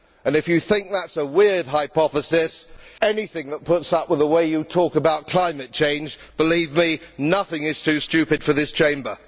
If you think that is a weird hypothesis, anything that puts up with the way you talk about climate change, believe me, nothing is too stupid for this Chamber.